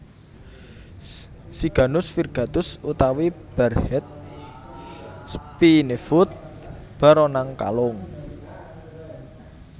Siganus Virgatus utawi Barehead Spinefoot baronang kalung